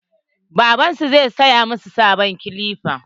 Babban su zai saya masu sabon kilipa.